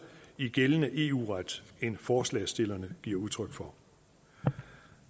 i gældende eu ret end forslagsstillerne giver udtryk for